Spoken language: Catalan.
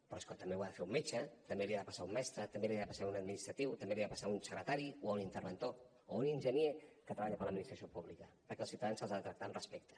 però és que també ho ha de fer un metge també li ha de passar a un mestre també li ha de passar a un administratiu també li ha de passar a un secretari o a un interventor o a un enginyer que treballar per l’administració pública perquè els ciutadans se’ls ha de tractar amb respecte